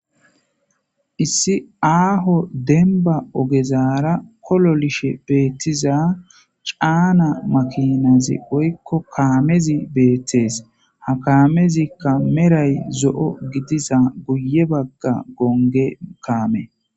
Issi aaho denba ogezaara kololishe beettiza caana makinazi oykko kaamezi beettees ha kaamezikka meray zo'o gidiza guye bagga gonge kaame.